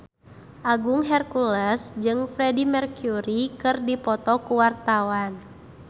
Agung Hercules jeung Freedie Mercury keur dipoto ku wartawan